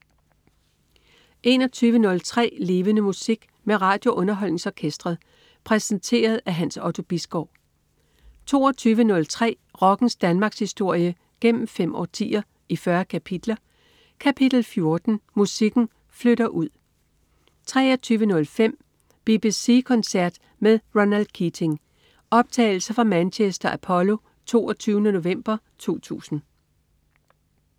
21.03 Levende Musik. Med RadioUnderholdningsOrkestret. Præsenteret af Hans Otto Bisgaard 22.03 Rockens Danmarkshistorie gennem fem årtier, i 40 kapitler. Kapitel 14: Musikken flytter ud 23.05 BBC koncert med Ronan Keating. Optagelse fra Manchester Apollo, 22. november 2000